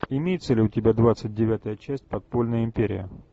имеется ли у тебя двадцать девятая часть подпольная империя